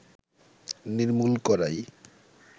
নির্মূল করাই